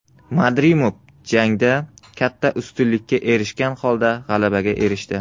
Madrimov jangda katta ustunlikka erishgan holda g‘alabaga erishdi.